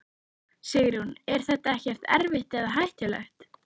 Sigrún: En er þetta ekkert erfitt eða hættulegt?